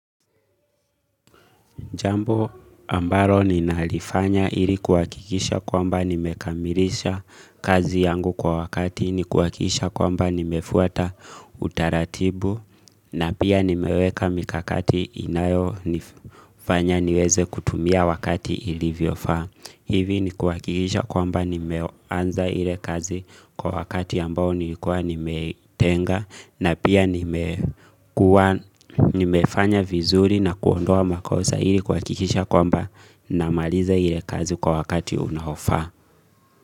Jambo ambalo ninalifanya ili kuwakikisha kwamba nimekamilisha kazi yangu kwa wakati, ni kuwakikisha kwamba nimefuata utaratibu, na pia nimeweka mikakati inayo nifanya niweze kutumia wakati ilivyofaa. Hivi ni kuwakikisha kwamba nime anza ile kazi kwa wakati ambao niikuwa nimetenga na pia nimekuwa ni mefanya vizuri na kuondoa makosa ili kuwakikisha kwamba na maliza ile kazi kwa wakati unao faa.